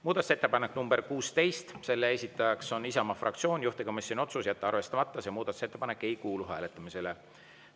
Muudatusettepanek nr 16, selle esitaja on Isamaa fraktsioon, juhtivkomisjoni otsus: jätta arvestamata, see muudatusettepanek ei kuulu hääletamisele.